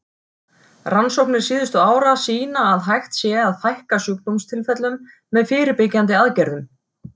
Rannsóknir síðustu ára sýna að hægt sé að fækka sjúkdómstilfellum með fyrirbyggjandi aðgerðum.